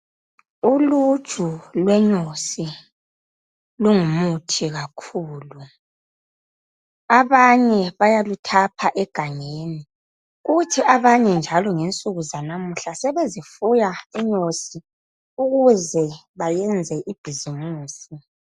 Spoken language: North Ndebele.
Uluju lwenyosi lungumuthi kakhulu. Abanye bayaluthaapha egangeni kuthi abanye njalo ngensuku zanamuhla sebezifuya inyosi ukuze bayenze ibhizimusi.